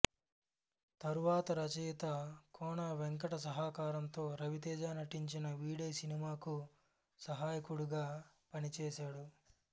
తరువాత రచయిత కోన వెంకట్ సహకారంతో రవితేజ నటించిన వీడే సినిమాకు సహాయకుడుగా పనిచేశాడు